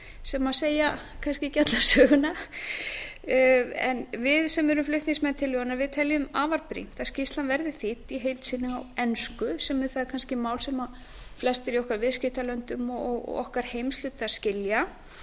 sem segja kannski ekki alla söguna en við sem erum flutningsmenn tillögunnar teljum afar brýnt að skýrslan verði þýdd í heild sinni á ensku sem er það mál sem kannski flestir í viðskiptalöndum okkar og heimshluta skilja